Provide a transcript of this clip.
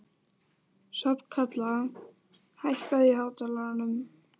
Hrafnkatla, hækkaðu í hátalaranum.